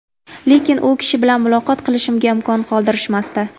Lekin u kishi bilan muloqot qilishimga imkon qoldirishmasdi.